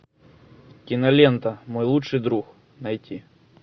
кинолента мой лучший друг найти